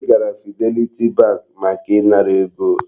Anyị gara Fidelity bank maka ị ṅara ego.